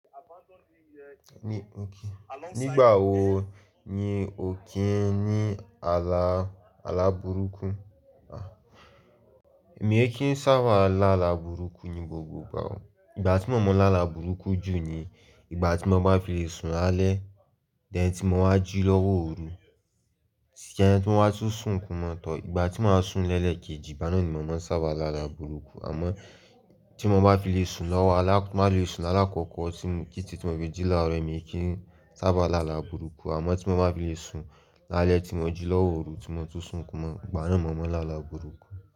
Nígbà wo ni o kí ń ní àlá, àlá burúkú? Èmi ẹ kí ń sábàa lá àlá burúkú ni gbogbo ìgbà o. Ìgbà tí mo máa ń lá àlá burúkú jù ni ìgbà tí mo bá fi lè sun lálẹ́, then tí mo wá jí lọ́wọ́ ooru, sí i ẹni tí mo wá tún sun kún mo tọ̀. Ìgbà tí mo máa sun lẹ́ẹ̀lẹ́ keji, gbá náà ni mo máa ń sábà lá àlá burúkú. Àmọ́ tí mo bá fi lè sun lọ́wọ́ alák- má lè sun alákọ̀ọ́kọ́, tí mo kí n tì tí mo fi jí láàárọ̀, èmi ẹ kí ń sábà lá àlá burúkú. Àmọ́ tí mo bá fi lè sun lálẹ́ tí mo jí lọ́wọ́ ooru tí mo tún sun kún mo, gbá náà ni mo máa ń lá àlá burúkú.